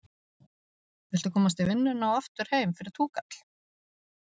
Viltu komast í vinnuna og aftur heim fyrir túkall?